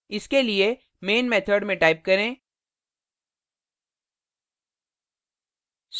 इसके लिए main method में type करें